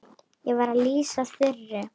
Ég var að lýsa Þuru.